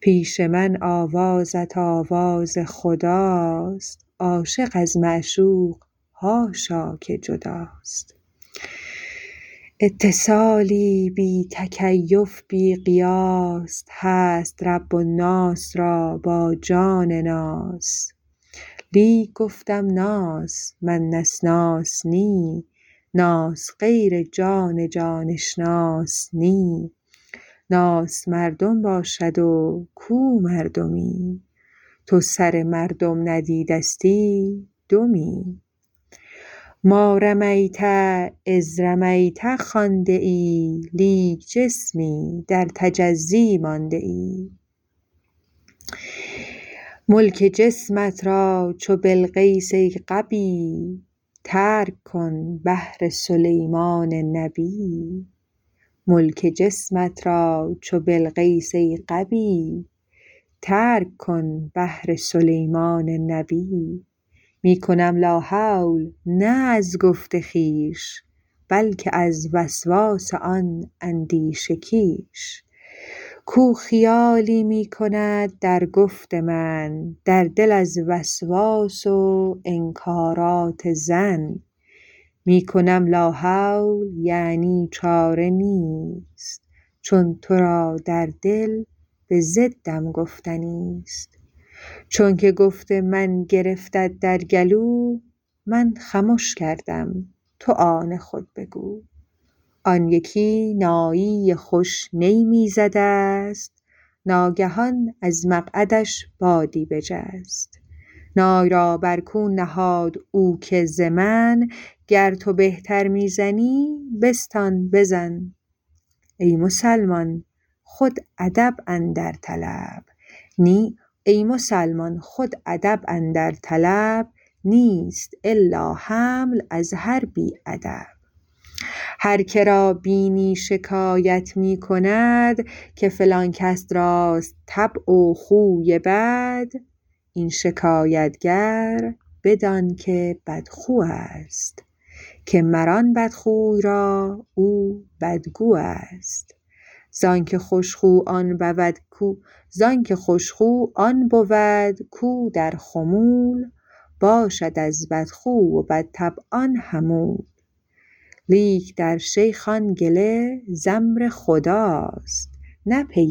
پیش من آوازت آواز خداست عاشق از معشوق حاشا که جداست اتصالی بی تکیف بی قیاس هست رب الناس را با جان ناس لیک گفتم ناس من نسناس نی ناس غیر جان جان اشناس نی ناس مردم باشد و کو مردمی تو سر مردم ندیدستی دمی ما رمیت اذ رمیت خوانده ای لیک جسمی در تجزی مانده ای ملک جسمت را چو بلقیس ای غبی ترک کن بهر سلیمان نبی می کنم لا حول نه از گفت خویش بلک از وسواس آن اندیشه کیش کو خیالی می کند در گفت من در دل از وسواس و انکارات ظن می کنم لا حول یعنی چاره نیست چون ترا در دل بضدم گفتنیست چونک گفت من گرفتت در گلو من خمش کردم تو آن خود بگو آن یکی نایی خوش نی می زدست ناگهان از مقعدش بادی بجست نای را بر کون نهاد او که ز من گر تو بهتر می زنی بستان بزن ای مسلمان خود ادب اندر طلب نیست الا حمل از هر بی ادب هر که را بینی شکایت می کند که فلان کس راست طبع و خوی بد این شکایت گر بدان که بدخو است که مر آن بدخوی را او بدگو است زانک خوش خو آن بود کو در خمول باشد از بدخو و بدطبعان حمول لیک در شیخ آن گله ز آمر خداست نه پی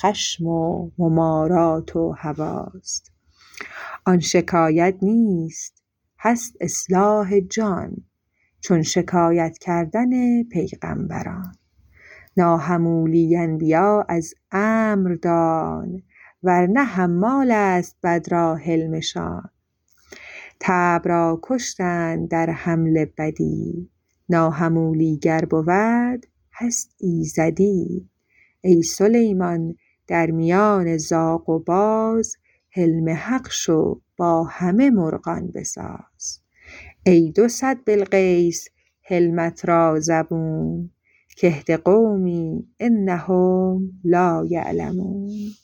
خشم و ممارات و هواست آن شکایت نیست هست اصلاح جان چون شکایت کردن پیغامبران ناحمولی انبیا از امر دان ورنه حمالست بد را حلمشان طبع را کشتند در حمل بدی ناحمولی گر بود هست ایزدی ای سلیمان در میان زاغ و باز حلم حق شو با همه مرغان بساز ای دو صد بلقیس حلمت را زبون که اهد قومی انهم لا یعلمون